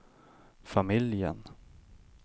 familjen